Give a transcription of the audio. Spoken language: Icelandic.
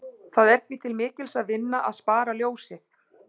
Það er því til mikils að vinna að spara ljósið.